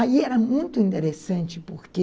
Aí era muito interessante, porque...